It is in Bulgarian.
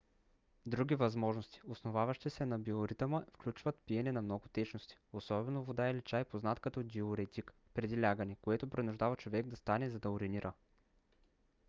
други възможности основаващи се на биоритъма включват пиене на много течности особено вода или чай познат като диуретик преди лягане което принуждава човек да стане за да уринира